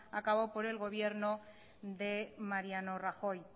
a cabo por el gobierno de mariano rajoy